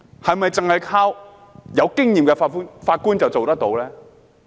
是否只是靠有經驗的法官便做得到？